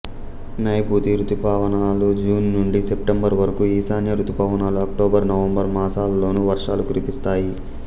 నైఋతి ఋతుపవనాలు జూన్ నుండి సెప్టెంబరు వరకు ఈశాన్య ఋతుపవనాలు అక్టోబరు నవంబరు మాసాలలోను వర్షాలు కురిపిస్తాయి